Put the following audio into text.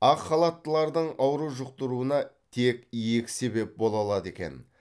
ақ халаттылардың ауру жұқтыруына тек екі себеп бола алады екен